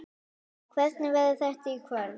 Hvernig verður þetta í kvöld?